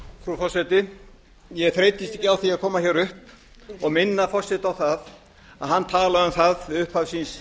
frú forseti ég þreytist ekki á því að koma upp og minna forseta á að hann talaði um það í upphafi síns